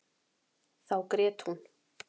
Þá grét hún.